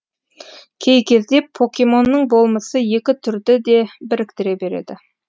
кей кезде покемонның болмысы екі түрді де біріктіре береді